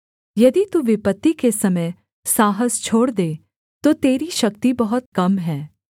यदि तू विपत्ति के समय साहस छोड़ दे तो तेरी शक्ति बहुत कम है